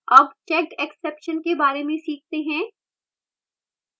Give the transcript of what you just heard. अब checked exceptions के बारे में सीखते हैं